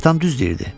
Atam düz deyirdi.